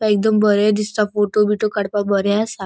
एकदम बरे दिसता. फोटो बीटो काड़पाक बरे असा.